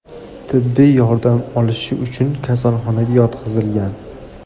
tibbiy yordam olishi uchun kasalxonaga yotqizilgan.